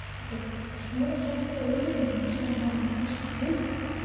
Höskuldur: Svona að hjálpa ökumönnum sem hafa fest bílinn?